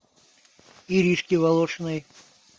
иришке волошиной